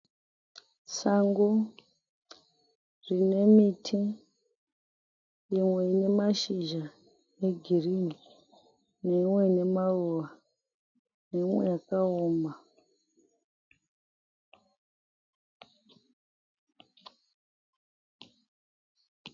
Sango rinemiti imwe inemashizha egirinhi. Neimwe inemaruva. Neimwe yakaoma.